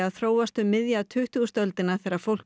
þróast um miðja tuttugustu öldina þegar fólk